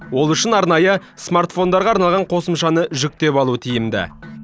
ол үшін арнайы смартфондарға арналған қосымшаны жүктеп алу тиімді